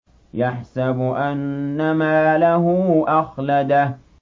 يَحْسَبُ أَنَّ مَالَهُ أَخْلَدَهُ